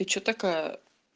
и что такая